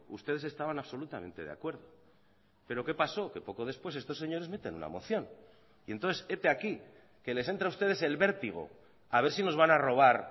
ustedes estaban absolutamente de acuerdo pero qué paso que poco después estos señores meten una moción y entonces hete aquí que les entra a ustedes el vértigo a ver si nos van a robar